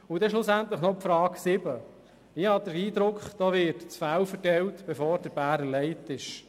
Noch zur Frage 7: Ich habe den Eindruck, das Fell werde verteilt, bevor der Bär erlegt worden ist.